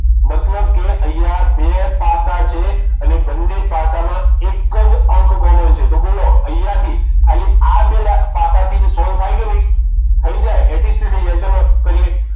મતલબ કે અહીંયા બે પાસા છે અને બંને પાસા મા એક જ અંક common છે તો બોલો અહીંયા થી ખાલી આ બે પાસા થી જ solve થાય કે નહીં થઈ જાય એતીસ્ત થી થઈ જાય ચલો કરીએ